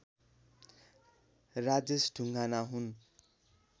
राजेश ढुङ्गाना हुन्